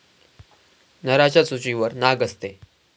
नराच्या चोचीवर नाक असते.